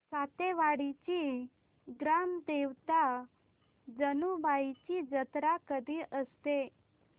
सातेवाडीची ग्राम देवता जानुबाईची जत्रा कधी असते